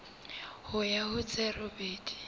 ho ya ho tse robedi